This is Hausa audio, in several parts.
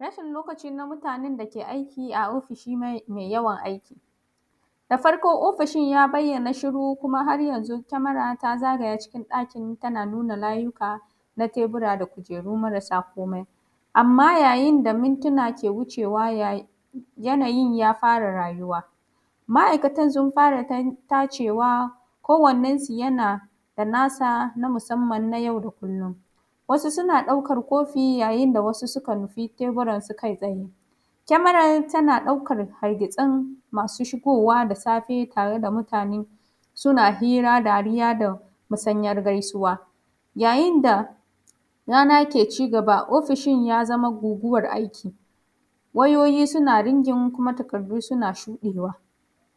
Rashin lokaci namutanen dake aiki a ofishi mai yawan aiki. Da farko ofishin ya bayyana shiru kuma har yanzu kemara ta zagaya ɗakin tana nuna layika na tebura da kujeru marasa komai. Amma yayin da mintuna ke wucewa yanayin ya fara rayuwa. Ma’ikatan sun fara tacewa ko wannan yanada nasa na yau da kullum. Wasu suna ɗaukan kofi ya yinda wasu suka nufi teburan su kai tsaye kemaran tna ɗaukan hargitsin masu shigowa dasafe tareda mutane suna hira, dariya da musanyar gaisuwa. Ya yinda raba ke cigaba ofishin ya zama guguwar aiki wayoyi suna rigin kuma taƙardu suna shuɗewa,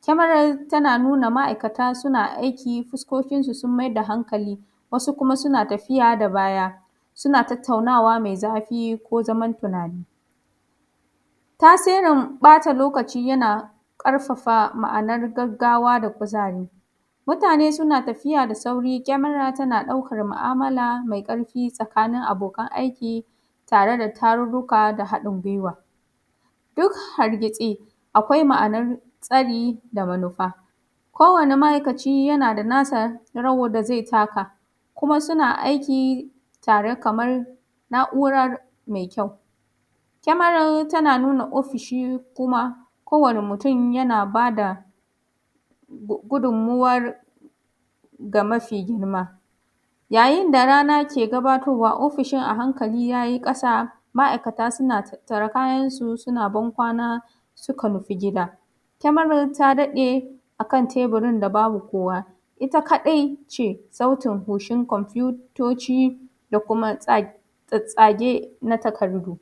kemarar tana nuna ma’aikata suna aiki fuskokin su sun maida hankali, wasu kuma suna tafiya da baya suna tattaunawa mai zafi ko zaman tunani. Tasirin ɓata lokaci yana ƙarfafa ma’anar gaggaw da kuzari, mutane suna tafiya da sauri kemara tana ɗaukan mu’amala mai ƙarfi tsakanin abokan aiki tare da tarurruka da haɗin guiwa. Duk hargitsi akwai ma’anar tsari da manufa ko wani ma’aikaci yanada nasarawar da zai taka, kuma suna aiki tare kamar na’urar mai kyau. kemarar tana nuna ofishi kuma kowani mutun yana bada gudun muwar ga mafi girma, ya yinda rana ke gabatowa ofishin a hankali yayi ƙasa ma’aikata suna tattar kayan suna bankwana suka tafi gida, kemarar ta daɗe akan teburin da babu kowa itta kaɗai ce sauti hucin kwamfutoci da kuma tsatsage na takardu.